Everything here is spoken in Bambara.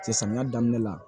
Cɛ samiya daminɛ la